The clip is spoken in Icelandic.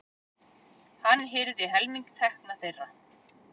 Hann hirði helming tekna þeirra.